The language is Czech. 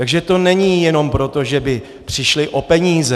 Takže to není jenom proto, že by přišli o peníze.